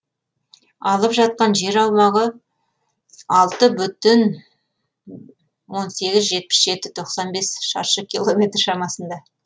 алып жатқан жер аумағы алты бүтін он сегіз жетпіс жеті тоқсан бес шаршы километр шамасында